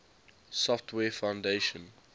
software foundation